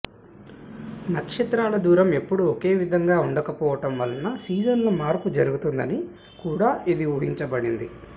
నక్షత్రాల దూరం ఎప్పుడూ ఒకే విధంగా ఉండకపోవటం వలన సీజన్ల మార్పు జరుగుతుందని కూడా ఇది ఊహించబడింది